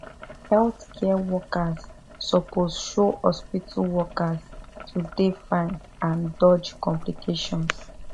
healthcare workers suppose show hospital workers to dey fine and dodge complications